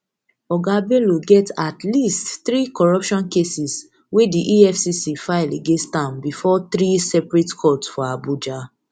oga bello get at least three corruption cases wey di efcc file against am bifor three separate courts for abuja